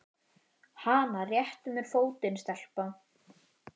Hana réttu mér fótinn, stelpa!